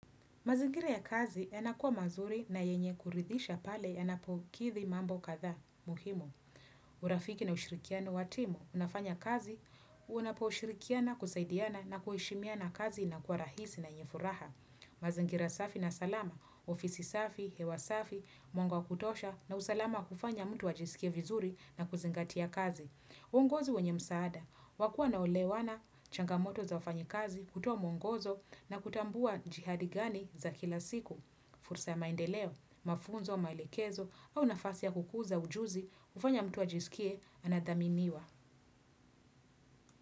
Mazingira ya kazi yanakua mazuri na yenye kuridhisha pale yanapokithi mambo kadha. Muhimu, urafiki na ushirikiano watimu, unafanya kazi, unaposhirikiana, kusaidiana na kuheshimiana kazi ina kuwa rahisi na yenye furaha. Mazingira safi na salama, ofisi safi, hewa safi, mwanga wa kutosha na usalama wa kufanya mtu wajisikie vizuri na kuzingatia kazi. Uongozi wenye msaada, wakuwa na olewana changamoto za wafanyikazi kutoa mwongozo na kutambua jihadi gani za kila siku, fursa ya maendeleo, mafunzo, maelekezo au nafasi ya kukuza ujuzi ufanya mtu ajisikie anadhaminiwa.